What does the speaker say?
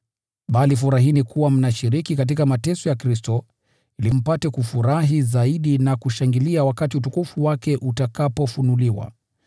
Bali furahini kuwa mnashiriki katika mateso ya Kristo, ili mpate kufurahi zaidi wakati utukufu wake utakapofunuliwa.